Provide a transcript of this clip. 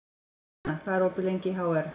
Sjana, hvað er opið lengi í HR?